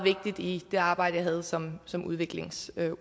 vigtig i det arbejde jeg havde som som udviklingsordfører